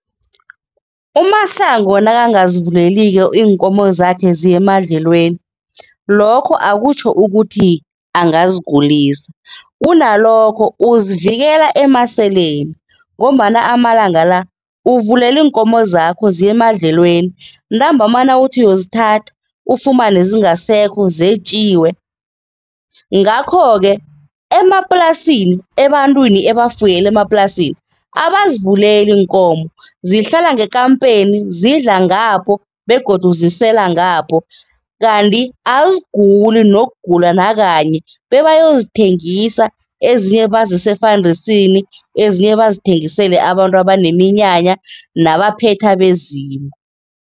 UMasango nakangazivuleliko iinkomo zakhe ziye emadlelweni, lokho akutjho ukuthi angazigulisa. Kunalokho uzivikela emaseleni ngombana amalanga la uvulela iinkomo zakho ziye emadlelweni, ntambama nawuthi uyozithatha, ufumane zingasekho, zetjiwe. Ngakho-ke emaplasini, ebantwini ebafuyele emaplasini, abazivuleli iinkomo. Zihlala ngekampeni, zidla ngapho begodu zisela ngapho kanti aziguli nokugula nakanye, bebayozithengisa, ezinye bazise efandisini, ezinye bazithengisele abantu abaneminyaka nabaphetha abezimu.